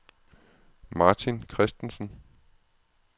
Martin Christensen